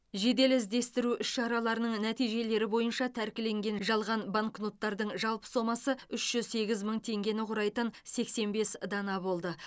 жедел іздестіру іс шараларының нәтижелері бойынша тәркіленген жалған банкноттардың жалпы сомасы үш жүз сегіз мың теңгені құрайтын сексен бес дана болды